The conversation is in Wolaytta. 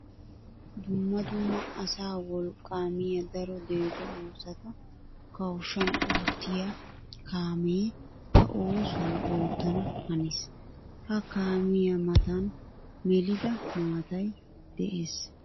Dumma dumma asaa wolqqa miya daro deexxo oosotta kawushshan oottiya kaame ba oosuwa oottana hanees. Ha kaamiya matan melidda maatay de'ees.